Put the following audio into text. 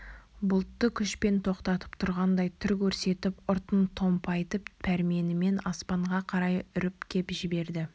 бұлтты күшпен тоқтатып тұрғандай түр көрсетіп ұртын томпайтып пәрменімен аспанға қарай үріп кеп жіберді